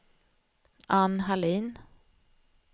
Anne Hallin